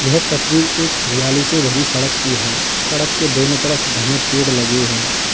यह तस्वीर एक हरियाली से भरी सड़क की है सड़क के दोनों तरफ घने पेड़ लगे हैं।